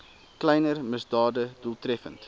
kleiner misdade doeltreffend